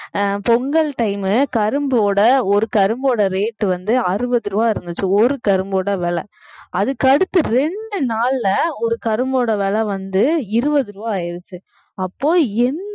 அஹ் Pongal time மு கரும்போட ஒரு கரும்போட rate வந்து அறுபது ரூபாய் இருந்துச்சு ஒரு கரும்போட விலை அதுக்கடுத்து ரெண்டு நாள்ல ஒரு கரும்போட விலை வந்து இருபது ரூபாய் ஆயிடுச்சு அப்போ